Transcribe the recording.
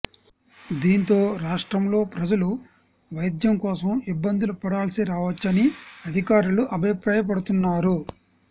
దీంతో రాష్ట్రంలో ప్రజలు వైద్యం కోసం ఇబ్బందులు పడాల్సిరావచ్చని అధికారులు అభిప్రాయపడుతున్నారు